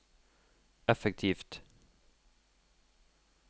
effektivt